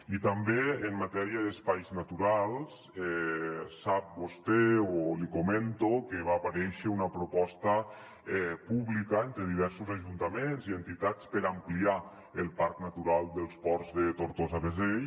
i també en matèria d’espais naturals sap vostè o l’hi comento que va aparèixer una proposta pública entre diversos ajuntaments i entitats per ampliar el parc natural dels ports de tortosa beseit